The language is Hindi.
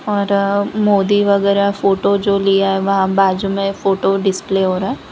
और मोदी वगैरह फोटो जो लिया है वहां बाजू में फोटो डिस्प्ले हो रहा है।